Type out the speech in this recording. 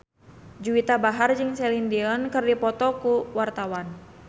Juwita Bahar jeung Celine Dion keur dipoto ku wartawan